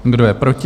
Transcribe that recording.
Kdo je proti?